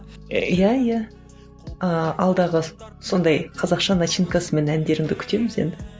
иә иә ыыы алдағы сондай қазақша начинкасымен әндеріңді күтеміз енді